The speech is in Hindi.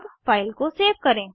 अब फाइल को सेव करें